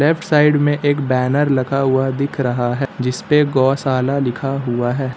Left side में एक banner लगा हुआ दिख रहा है जिसपे गौशाला लिखा हुआ है।